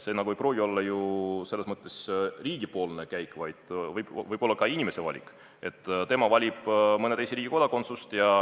See ei pruugi olla riigi käik, vaid võib olla ka inimese valik, et ta valib mõne teise riigikodakondsuse.